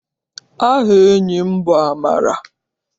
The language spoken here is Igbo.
Aha enyi m bụ Amara.